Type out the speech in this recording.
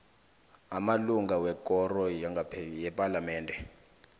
amalunga wekoro yepalamende